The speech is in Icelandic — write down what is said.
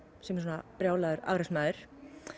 sem er svona brjálaður afreksmaður